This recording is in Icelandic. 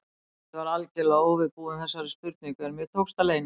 Ég var algjörlega óviðbúin þessari spurningu, en mér tókst að leyna því.